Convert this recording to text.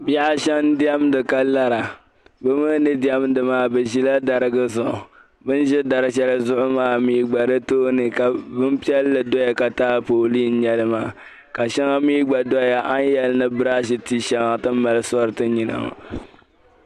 Bihi ashɛm n-diɛmdi ka lara bɛ mi ni diɛmdi maa bɛ ʒila darigi zuɣu bɛ ni ʒi dar' shɛli zuɣu maa mi gba di tooni ka bimpiɛlli beni ka taapooli n-nya li maa ka shɛŋa mi gba doya a ni yɛli ni briaashi ti shɛŋa ti ni mali sori ti nyina maa.